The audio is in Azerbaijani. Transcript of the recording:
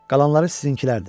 Qalanları sizinkilərdir.